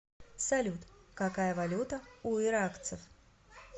салют какая валюта у иракцев